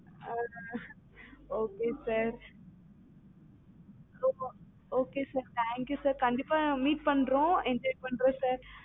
ah okay sir thank you sir கண்டிப்பா meet பண்றோம் enjoy பண்றோம் sir